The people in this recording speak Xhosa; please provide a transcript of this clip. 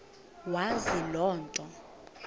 wazi loo nto